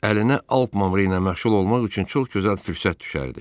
Əlinə alp mamrıyla məşğul olmaq üçün çox gözəl fürsət düşərdi.